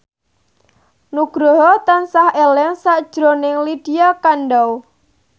Nugroho tansah eling sakjroning Lydia Kandou